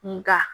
Nka